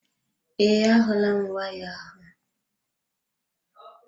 Ee, ahulam waya ahụ.